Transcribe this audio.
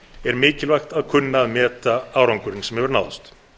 er mikilvægt að kunna að meta árangurinn sem hefur náðst